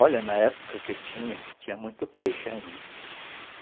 Olha, na época que eu tinha, tinha muito peixe ainda.